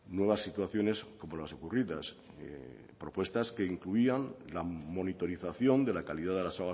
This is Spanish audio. nuevas situaciones como las ocurridas propuestas que incluían la monitorización de la calidad de las